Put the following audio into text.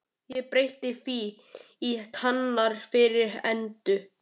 Ég breytti því í Kanarí fyrir Eddu.